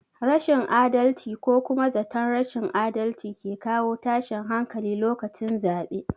Rashin adalci ko kuma zaton rashin adalci ke kawo tashin hankali lokacin zaɓe